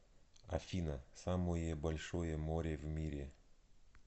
афина самое большое море в мире